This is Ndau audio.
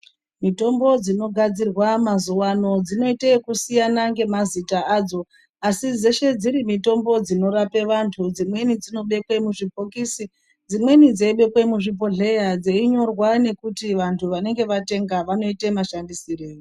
Mitombo dzinogadzirwa mazuva ano dzinoita kusiyana nemazita adzo asi dzeshe dziri mitombo dzinorapa antu dzimweni dzinobekwa muzvibhokisi dzimweni dzeibekwa muzvibhohleya dzeinyorwa kuti vantu vanenge vatenga vanoita mashandisirei.